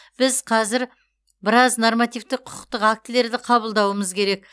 біз қазір біраз нормативтік құқықтық актілерді қабылдауымыз керек